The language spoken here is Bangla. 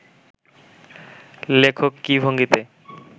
লেখক কী ভঙ্গিতে